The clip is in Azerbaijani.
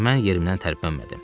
Ancaq mən yerimdən tərpənmədim.